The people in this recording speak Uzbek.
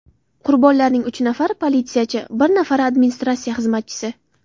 Qurbonlarning uch nafari politsiyachi, bir nafari administratsiya xizmatchisi .